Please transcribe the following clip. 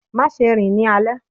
má ṣe rìn ní alé!